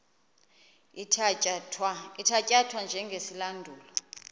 ithatya thwa njengesilandulo